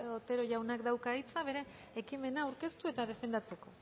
otero jaunak dauka hitza bere ekimena aurkeztu eta defendatzeko